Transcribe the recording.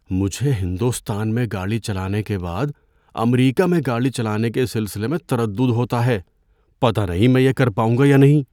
مجھے ہندوستان میں گاڑی چلانے کے بعد امریکہ میں گاڑی چلانے کے سلسلے میں تردد ہوتا ہے۔ پتہ نہیں میں یہ کر پاؤں گا یا نہیں۔